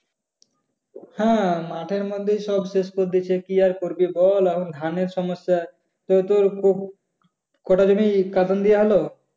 হ্যাঁ মাঠের মধ্যেই তো সব শেষ করে দিছে। কি আর করবে বল? এখন ধানের সমস্যা। তা তোর কটা জমি কাটন দেওয়া হল?